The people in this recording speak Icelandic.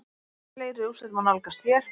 Fleiri úrslit má nálgast hér